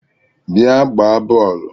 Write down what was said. Bia gbaa bọọlụ!!